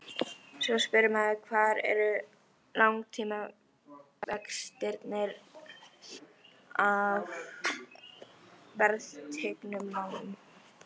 Svo spyr maður hvar eru langtímavextirnir af verðtryggðum lánum?